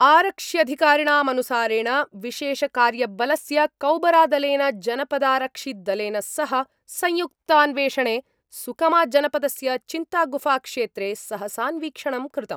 आरक्ष्यधिकारिणामनुसारेण विशेषकार्यबलस्य कौबरादलेन जनपदारक्षिदलेन सह संयुक्तान्वेषणे सुकमाजनपदस्य चिंतागुफाक्षेत्रे सहसान्वीक्षणं कृतम्।